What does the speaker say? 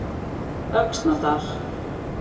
Öxnadal